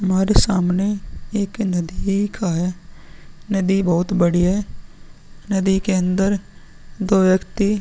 हमारे सामने एक नदी का है। नदी बहोत बड़ी है। नदी के अंदर दो व्यक्ति --